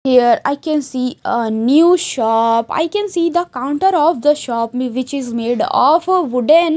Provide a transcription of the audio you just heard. here I can see a new shop I can see the counter of the shop which is made of wooden--